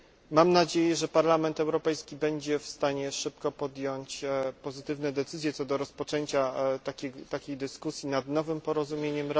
Mam nadzieję, że Parlament Europejski będzie w stanie szybko podjąć pozytywne decyzje co do rozpoczęcia takiej dyskusji nad nowym porozumieniem.